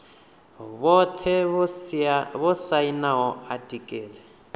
vhothe vho sainaho atiki ḽi